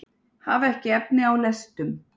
Hafa ekki efni á lestum